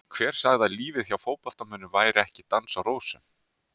Hver sagði að lífið hjá fótboltamönnum væri ekki dans á rósum?